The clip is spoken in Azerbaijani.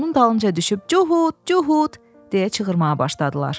Onun dalınca düşüb "Cuhud, Cuhud!" deyə çığırmağa başladılar.